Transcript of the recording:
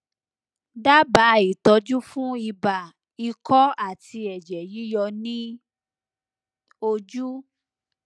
dábàá ìtọjú fún ibà ikọ àti ẹjẹ yíyọ ní ojú